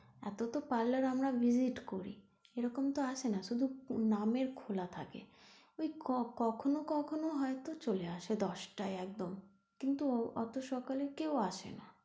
এতো তো parlour আমরা visit করি এরকম তো আসেনা শুধু নামের খোলা থাকে, ওই কখনো কখনো হয়তো চলে আসে দশটায় একদম কিন্তু অতো সকালে কেউ আসে না।